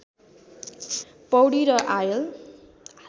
पौडी र आलय